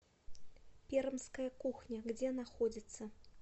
пермская кухня где находится